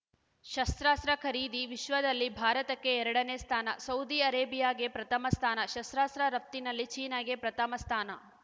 ಶಸ್ತ್ರಾಸ್ತ್ರ ಖರೀದಿ ವಿಶ್ವದಲ್ಲಿ ಭಾರತಕ್ಕೆ ಎರಡನೇ ಸ್ಥಾನ ಸೌದಿ ಅರೇಬಿಯಾಗೆ ಪ್ರಥಮ ಸ್ಥಾನ ಶಸ್ತ್ರಾಸ್ತ್ರ ರಫ್ತಿನಲ್ಲಿ ಚೀನಾಗೆ ಪ್ರಥಮ ಸ್ಥಾನ